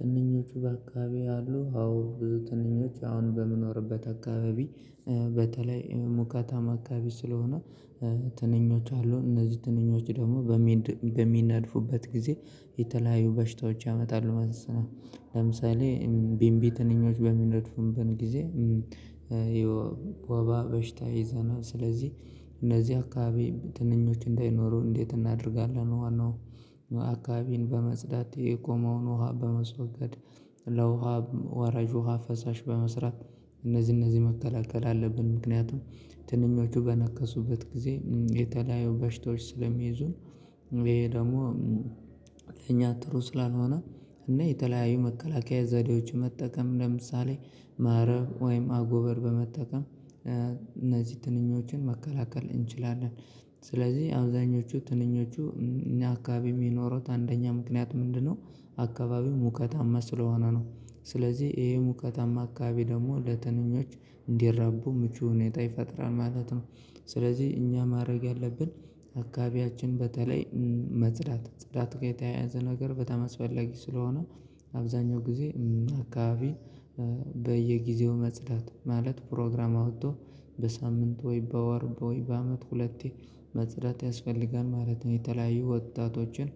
ትንኞቹ በአካባቢ አሉ አዎ ብዙ ትንኞች አሁን በምኖርበት አካባቢ። በተለይ ሙቀታማ አካባቢ ስለሆነ ትንኞች አሉ እነዚህ ትንኞች ደሞ በሚነድፉበት ጊዜ የተለያዩ በሽታዎች ያመጣሉ። ማሰለ ለምሳሌ ቢምቢ ትንኞች በሚነድፉበት ጊዜ። ዬ ወባ በሽታ ይዘናል ስለዚህ እነዚህ አካባቢ ትንኞች እንዳይኖሩ እንዴት እናደርጋለን? ዋናው አካባቢን በመጽዳት የቆመውን ውሃ በማስወገድ። ለውሃ ወራጅ ውሃ ፈሳሽ በመስራት እነዚህ እነዚህ መከላከል አለብን። ምክንያቱም ትንኞቹ በነከሱበት ግዜ የተለያየ በሽታዎች ስለሚይዙን። እሄ ደሞ እኛ ጥሩ ስላልሆነ እና የተለያዩ መከላከያ ዘዴዎች መጠቀም ለምሳሌ ማረብ ወይም አጎበር በመጠቀም እነዚህ ትንኞችን መከላከል እንችላለን። ስለዚህ አብዛኞቹ ትንኞቹ አካባቢ ሚኖሩት አንደኛ ምክንያት ምንድነው? አካባቢው ሙቀታማ ስለሆነ ነው ስለዚህ እሄ ሙቀታማ አካባቢ ደሞ ለትንኞች እንዲራቡ ምቹ ሁኔታ ይፈጥራል ማለት ነው። ስለዚህ እኛ ማረግ ያለብን አካባቢያችን በተለይ መጽዳት ጽዳት ጋ የተያያዘ ነገር በጣም አስፈለጊ ስለሆነ። አብዛኛው ግዜ አካባቢ በየጊዜው መጽዳት ማለት ፕሮግራም አውቶ በሳምንት ወይ በወር ወይ በአመት ሁለቴ መጽዳት ያስፈልጋል ማለት ነው። የተለያዩ ወጣቶችን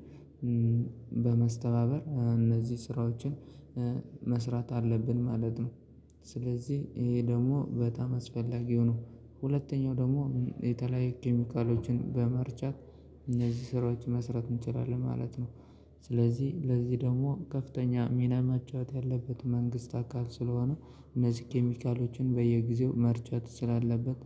በማስተባበር እነዚህ ስራዎችን መስራት አለብን ማለት ነው። ስለዚህ እሄ ደሞ በጣም አስፈላጊው ነው። ሁለተኛው ደሞ የተለያዩ ኬሚካሎችን በመርጫት እነዚህ ስራዎች መስራት እችላለን ማለት ነው። ስለዚህ ለዚህ ደሞ ከፍተኛ ሚና መጫወት ያለበት መንግስት አካል ስለሆነ እነዚህ ኬሚካሎችን በየጊዜው መርጨት ስላለበት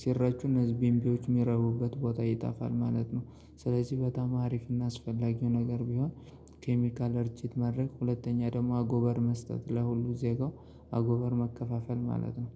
ሲረጩ እነዚህ ቢምቢዎች ሚረቡበት ቦታ ይጣፋል ማለት ነው። ስለዚህ በጣም አሪፍና አስፈላጊው ነገር ቢሆን ኬሚካል እርጭት ማድረግ ሁለተኛ ደሞ አጎበር መስጠት ለሁሉ ዜጋው አጎበር ማከፋፈል ማለት ነው